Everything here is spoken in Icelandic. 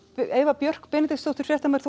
Eva Björk Benediktsdóttir fréttamaður